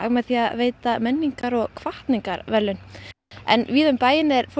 með því að veita menningar og hvatningarverðlaun en víða um bæinn er fólk